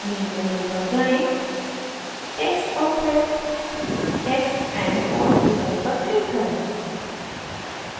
main menu पर जाएँ text और फिर text and font विकल्प पर click करें